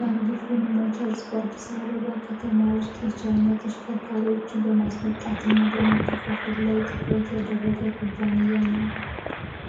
ያንግ ፍን ሞተርስ በአዲስ አበባ ከተማ የቻይና ተሽከርካሪዎች በማስመጣና እና በማከፋፈል ላይ ትኩረት ያደረገ ኩፓንያ ነዉ።